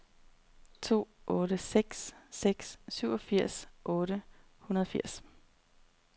to otte seks seks syvogfirs otte hundrede og firs